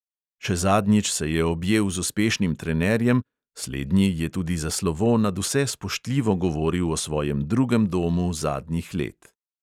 Še zadnjič se je objel z uspešnim trenerjem, slednji je tudi za slovo nadvse spoštljivo govoril o svojem drugem domu zadnjih let.